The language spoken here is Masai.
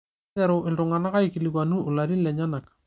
Neiteru iltung'ana aikilikuanu ilarin lenyenak